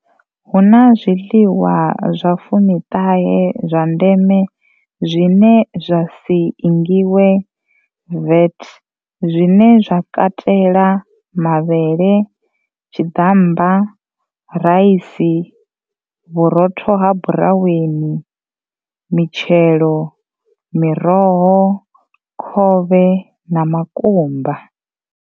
Hu na zwiḽiwa zwa fumi ṱahe zwa ndeme zwine zwa si ingiwe VAT zwine zwa katela, mavhele, tshi ḓammba, raisi, vhurotho ha buraweni, mitshelo, miroho, khovhe na makumba.